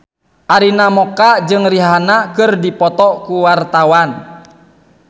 Arina Mocca jeung Rihanna keur dipoto ku wartawan